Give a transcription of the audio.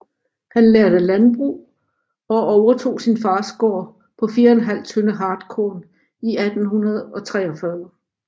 Han lærte landbrug og overtog sin fars gård på 4½ tønde hartkorn i 1843